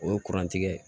O ye kuran tigɛ ye